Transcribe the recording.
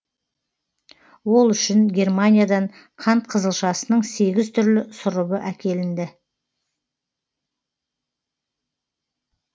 ол үшін германиядан қант қызылшасының сегіз түрлі сұрыбы әкелінді